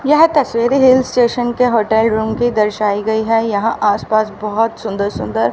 यह तस्वीर hill station के होटल रूम की दर्शाई गई है यहां आस पास बहोत सुंदर-सुंदर --